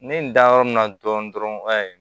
Ne ye n da yɔrɔ min na dɔrɔn